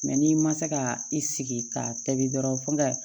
n'i ma se ka i sigi k'a tobi dɔrɔn fo nga